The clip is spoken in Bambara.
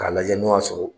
K'a lajɛ n'o y'a sɔrɔ